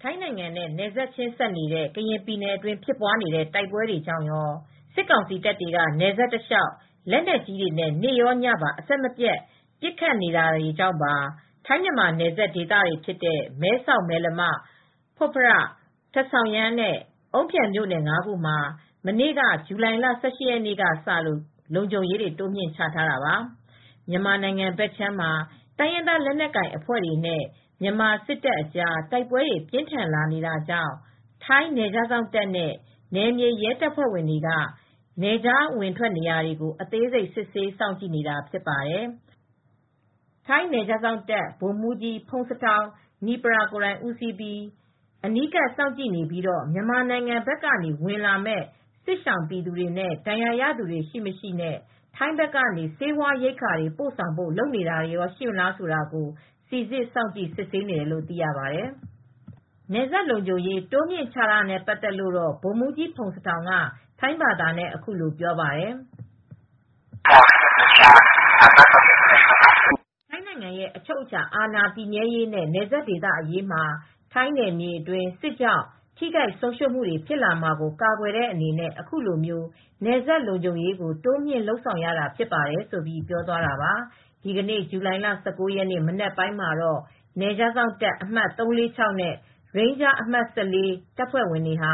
ထိုင်းနိုင်ငံနဲ့ နယ်ချင်းစပ်နေတဲ့ ကရင်ပြည်နယ်အတွင်း ဖြစ်ပွားနေတဲ့ တိုက်ပွဲကြောင့်ရော၊ စစ်ကောင်စီတပ်တွေက နယ်စပ်တလျှောက် လက်နက်ကြီးတွေနဲ့ နေ့ရောညပါ အဆက်မပြတ် ပစ်ခတ်နေတာတွေကြောင့်ပါ ထိုင်းမြန်မာ နယ်စပ်ဒေသတွေ ဖြစ်တဲ့ မဲဆောက်၊ မယ်လမ၊ ဖွတ်ဖရထာ့၊ ဆောင်ရန်း နဲ့ အုန်းဖြန် မြို့နယ် ၅ ခုမှာ မနေ့ ဇူလိုင်လ ၁၈ ရက်နေ့ကစလို့ လုံခြုံရေး တိုးမြှင့်ချထားတာပါ။ မြန်မာနိုင်ငံဘက်ခြမ်းမှာ တိုင်းရင်းသား လက်နက်ကိုင်အဖွဲ့တွေနဲ့ မြန်မာစစ်တပ်အကြား တိုက်ပွဲတွေ ပြင်းထန်လာနေတာကြောင့် ထိုင်းနယ်ခြား စောင့်တပ်နဲ့ နယ်မြေရဲတပ်ဖွဲ့တွေက နယ်ခြား အဝင်ထွက်နေရာတွေကို အသေးစိတ် စစ်ဆေး စောင့်ကြည့်နေတာ ဖြစ်ပါတယ်။ ထိုင်းနယ်ခြားစောင့်တပ် ဗိုလ်မှူးကြီး ဖုန်စထောင် နိပရာ (Pongsathorn Nippaya) ကိုယ်တိုင်ဦးစီးပြီး အနီးကပ် စောင့်ကြည့်နေပြီးတော့ မြန်မာနိုင်ငံ ဘက်ကနေ ဝင်လာမယ့် စစ်ရှောင်ပြည်သူနဲ့ ဒဏ်ရာရသူတွေ ရှိ မရှိ နဲ့ ထိုင်းဘက်ကနေ ဆေးဝါးရိက္ခာတွေ ပို့ဆောင်ဖို့ လုပ်နေတာတွေ ရှိမလား ဆိုတာကို စိစစ်စောင့်ကြည့် စစ်ဆေးနေတယ်လို့ သိရပါတယ်။ နယ်စပ်လုံခြုံရေး တိုးမြှင့်ချထားတာနဲ့ ပတ်သက်လို့တော့ ဗိုလ်မှူးကြီး ဖုန်စထောင် က ထိုင်းဘာသာနဲ့ အခုလို ပြောပါတယ်။ "ထိုင်းနိုင်ငံရဲ့ အချုပ်အခြာ အာဏာ တည်မြဲရေးနဲ့ နယ်စပ်ဒေသ အရေးမှာ ထိုင်းနယ်မြေအတွင်း စစ်ကြောင့် ထိခိုက် ဆုံးရူံးမှုတွေ ဖြစ်လာမှာကို ကာကွယ်တဲ့အနေနဲ့ အခုလို နယ်စပ်လုံခြုံရေးကို တိုးမြင့်လုပ်ဆောင်ရတာ ဖြစ်တယ်လို့ ပြောသွားတာပါ။" ဒီနေ့ ဇူလိုင်လ ၁၉ ရက် မနက်ပိုင်းမှာတော့ နယ်ခြားစောင့်တပ် အမှတ် ၃၄၆ နဲ့ ရိန်းဂျား အမှတ် ၁၄ တပ်ဖွဲ့ဝင်တွေဟာ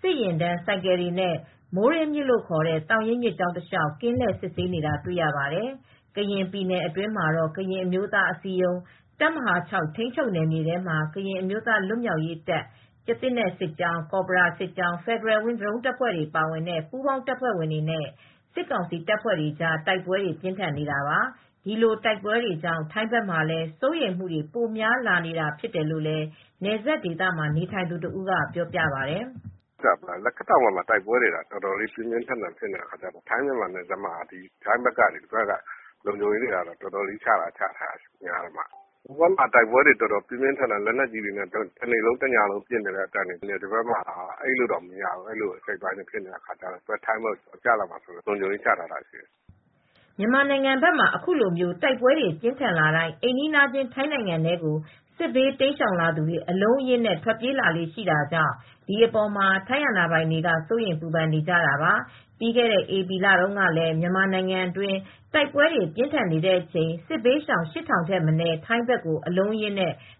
စစ်ယာဉ်တန်း ဆိုင်ကယ်တွေနဲ့ မိုးရေးမြစ် လို့ခေါ်တဲ့ သောင်ရင်း မြစ်ကြောင်းတလျှောက် ကင်းလှည့် စစ်ဆေးနေတာ တွေ့ရပါတယ်။ ကရင်ပြည်နယ်အတွင်းမှာတော့ ကရင်အမျိုးသားအစည်းအရုံး တပ်မဟာ (၆) ထိန်းချုပ်နယ်မြေထဲမှာ ကရင်အမျိုးသား လွတ်မြောက်ရေးတပ် ကျားသစ်နက် စစ်ကြောင်း၊ ကော်ဘရာစစ်ကြောင်း၊ Federal Wings ဒရုန်းတပ်ဖွဲ့တွေ ပါတဲ့ ပူးပေါင်း တပ်ဖွဲ့တွေနဲ့ စစ်ကောင်စီတပ်ဖွဲ့တွေကြား တိုက်ပွဲတွေ ပြင်းထန်နေတာပါ။ ဒီလို တိုက်ပွဲတွေကြောင့် ထိုင်းဘက်မှာလည်း စိုးရိမ်မှုတွေ ပိုများလာနေတာ ဖြစ်တယ်လို့ နယ်စပ်ဒေသမှာ နေထိုင်သူ တဦးက ပြောပါတယ်။ "လက်ခတ်တောင်ဘက်က တိုက်ပွဲတွေက အတော်လေး ပြင်းပြင်းထန်ထန် ဖြစ်နေတယ်။ ထိုင်းမြန်မာနယ်စပ်မှာ ထိုင်းဘက်က လုံခြုံရေးတွေ အတော်ချထားတယ်။ ဟိုဘက်ကမ်းမှာ လက်နက်ကြီးတွေနဲ့ တနေ့လုံးတညလုံး ညံနေတော့ ထိုင်းဘက်အိပ်လို့တောင် မရဘူး။ အဲဒီလိုဖြစ်နေတော့ လုံခြုံရေးတွေ ချထားတာက သူတို့ထိုင်းဘက်ကို ကျလာမှာစိုးလို့ လုံခြုံရေးတွေ ချထားတာဖြစ်တယ်။" မြန်မာနိုင်ငံဘက်မှာ အခုလို တိုက်ပွဲတွေ ပြင်းထန်လာတိုင်း အိမ်နီးချင်း ထိုင်းနိုင်ငံထဲကို စစ်ဘေးတိမ်းရှောင်သူတွေ အလုံးအရင်းနဲ့ ထွက်ပြေးလာလေ့ ရှိတာကြောင့် ဒီအပေါ်မှာ ထိုင်းအာဏာပိုင်တွေက စိုးရိမ်ပူပန်နေကြတာပါ။ ပြီးခဲ့တဲ့ ဧပြီလတုန်းကလည်း မြန်မာနိုင်ငံတွင်း တိုက်ပွဲတွေ ပြင်းထန်နေတဲ့အချိန် စစ်ဘေးရှောင် ၈၀၀၀ ထက်မနည်း ထိုင်းဘက်ကို အလုံးအရင်း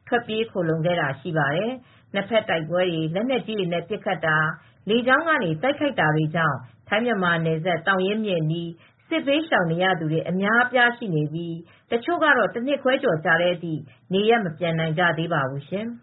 ထွက်ပြေး ခိုလှုံခဲ့တာ ရှိပါတယ်။ နှစ်ဘက်တိုက်ပွဲတွေ၊ လက်နက်ကြီးနဲ့ ပစ်ခတ်တာ၊ လေကြောင်းက တိုက်ခိုက်တာတွေကြောင့် ထိုင်း−မြန်မာနယ်စပ် သောင်ရင်းမြစ်အနီး စစ်ဘေးရှောင်နေရသူတွေ အများအပြား ရှိနေပြီး တချို့က တနှစ်ခွဲကျော်ကြာတဲ့အထိ နေရပ်မပြန်နိုင်ကြသေးပါဘူးရှင်။